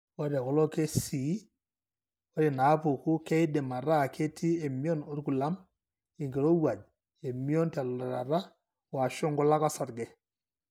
Ore tekulo kesii, ore inaapuku keidim ataa ketii emion orkulam, enkirowuaj, emion telutata, o/ashu nkulak osarge.